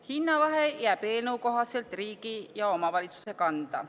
Hinnavahe jääb eelnõu kohaselt riigi ja omavalitsuse kanda.